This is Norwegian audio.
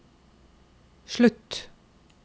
slutt